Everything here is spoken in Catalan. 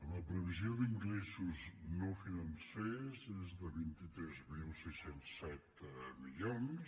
la previsió d’ingressos no financers és de vint tres mil sis cents i set milions